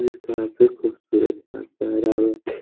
ये काफी खूबसूरत --